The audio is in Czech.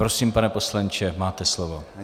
Prosím, pane poslanče, máte slovo.